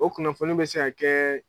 O kunnafoni bɛ se ka kɛ